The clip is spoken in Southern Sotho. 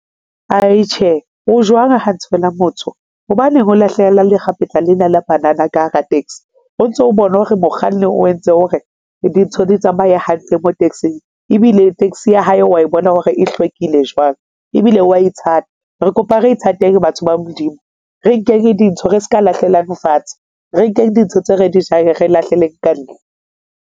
Ai Tjhe, o jwang ha nthe wena motho? Hobaneng o lahlela lekgapetla lena la banana ka hara taxi o ntso o bona hore mokganni o entse hore dintho di tsamaye hantle mo taxi-ng ebile taxi ya hae wa bona hore e hlwekile jwang ebile wa ithata. Re kopa re ithateng batho ba Modimo, re nkeng dintho, re seka lahlelang fatshe, re nkeng dintho tse re di jang, re lahlele ka ntle.